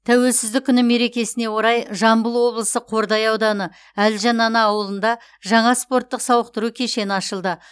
тәуелсіздік күні мерекесіне орай жамбыл облысы қордай ауданы әлжан ана ауылында жаңа спорттық сауықтыру кешені ашылды